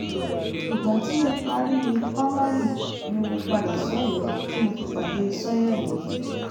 ìgbà tí mo parí pa mari ni mo padà sọ́yọ́ọ́ tí mo fi pàdé sànhérì yẹn